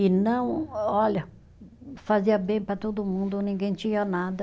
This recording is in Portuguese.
E não, olha, fazia bem para todo mundo, ninguém tinha nada.